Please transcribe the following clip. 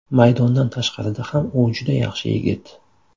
Maydondan tashqarida ham u juda yaxshi yigit.